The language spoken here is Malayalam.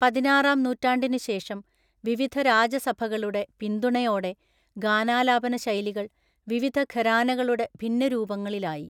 പതിനാറാംനൂറ്റാണ്ടിനുശേഷം, വിവിധരാജസഭകളുടെ പിന്തുണയോടെ, ഗാനാലാപനശൈലികൾ വിവിധഘരാനകളുടെ ഭിന്നരൂപങ്ങളിലായി.